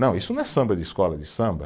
Não, isso não é samba de escola de samba